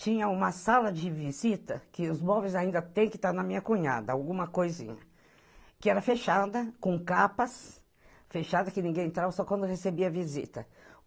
Tinha uma sala de visita, que os móveis ainda têm que estar na minha cunhada, alguma coisinha, que era fechada, com capas, fechada, que ninguém entrava, só quando recebia visita.